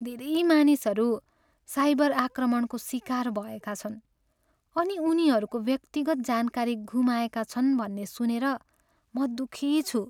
धेरै मानिसहरू साइबर आक्रमणको सिकार भएका छन् अनि उनीहरूको व्यक्तिगत जानकारी गुमाएका छन् भन्ने सुनेर म दुःखी छु।